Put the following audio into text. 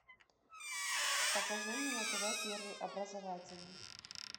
покажи мне на тв первый образовательный